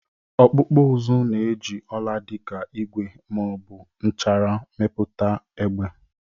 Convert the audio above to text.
Ọkpụkpụ uzu na-eji ọla dị ka igwe ma ọ bụ nchara mepụta egbe.